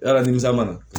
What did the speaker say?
Yala nimisa mana